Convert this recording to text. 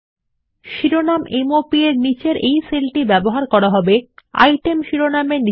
শিরোনাম এমওপি নিচেসেল ব্যবহার করা যাবেপেমেন্ট মোড প্রদর্শন করতে ডাটা এন্ট্রির জন্য আইটেম শিরোনামের অধীনে